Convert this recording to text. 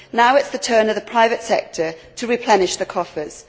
Now it is the turn of the private sector to replenish the coffers.